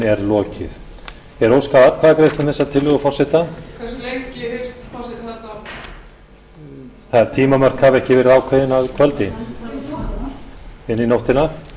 er lokið er óskað atkvæðagreiðslu um þessa tillögu forseta hve lengi hyggst forseti halda áfram þau tímamörk hafa ekki verið ákveðin að kvöldi inn í nóttina